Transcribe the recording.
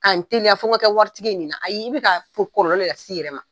K'a n teliya fɔ n ka kɛ waritigi ye nin na , ayi, i bɛ ka kɔlɔlɔ lase i yɛrɛ de ma.